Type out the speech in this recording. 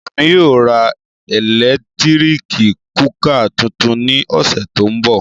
Émi yóò ra eletirik kukà tuntun ni ọsẹ to nbọ.